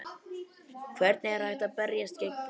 Hvernig er hægt að berjast gegn þessu?